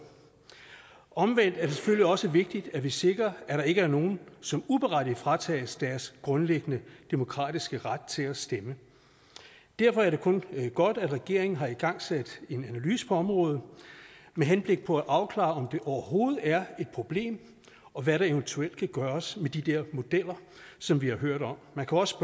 omvendt er det selvfølgelig også vigtigt at vi sikrer at der ikke er nogen som uberettiget fratages deres grundlæggende demokratiske ret til at stemme derfor er det kun godt at regeringen har igangsat en analyse på området med henblik på at afklare om det overhovedet er et problem og hvad der eventuelt kan gøres med de der modeller som vi har hørt om man kan også